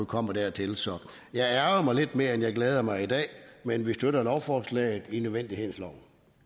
kommer dertil så jeg ærgrer mig lidt mere end jeg glæder mig i dag men vi støtter lovforslaget i nødvendighedens